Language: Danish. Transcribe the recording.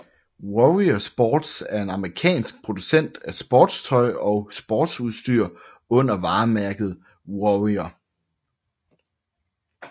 Warrior Sports er en amerikansk producent af sportstøj og sportsudstyr under varemærket Warrior